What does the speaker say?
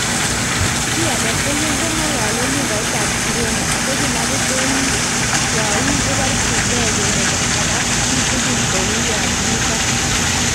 Chi agetugul kong'olole lugait ab Kireno ago kilabit en you koborchingei kole kagas chi tugul kou yon mi gaa